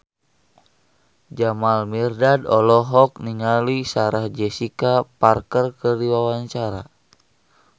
Jamal Mirdad olohok ningali Sarah Jessica Parker keur diwawancara